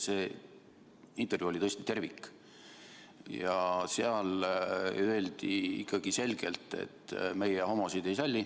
See intervjuu oli tõesti tervik ja seal öeldi ikkagi selgelt, et meie homosid ei salli.